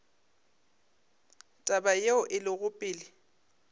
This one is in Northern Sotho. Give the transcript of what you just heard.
taba yeo e lego pele